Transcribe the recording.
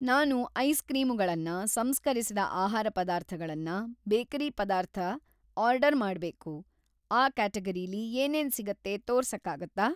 ನಾನು ಐಸ್‍ಕ್ರೀಮುಗಳನ್ನ, ಸಂಸ್ಕರಿಸಿದ ಆಹಾರ ಪದಾರ್ಥಗಳನ್ನ, ಬೇಕರಿ‌ ಪದಾರ್ಥ ಆರ್ಡರ್‌ ಮಾಡ್ಬೇಕು, ಆ ಕ್ಯಾಟಗರೀಲಿ ಏನೇನ್‌ ಸಿಗತ್ತೆ ತೋರ್ಸಕ್ಕಾಗತ್ತಾ?